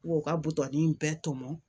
U ka butɔni in bɛɛ tɔmɔ